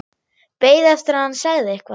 Beið eftir að hann segði eitthvað.